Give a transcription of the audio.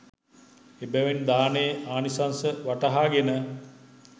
එබැවින් දානයේ ආනිශංස වටහාගෙන